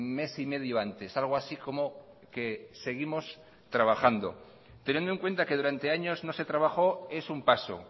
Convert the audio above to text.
mes y medio antes algo así como que seguimos trabajando teniendo en cuenta que durante años no se trabajó es un paso